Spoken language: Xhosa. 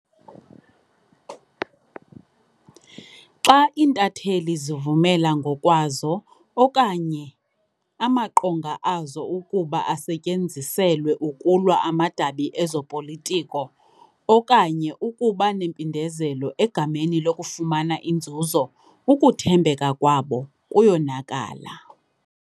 Xa iintatheli zivumela ngokwazo okanye amaqonga azo ukuba asetyenziselwe ukulwa amadabi ezopolitiko okanye ukuba nempindezelo egameni lokufumana inzuzo, ukuthembeka kwabo kuyonakala.